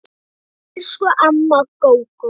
Elsku amma Gógó.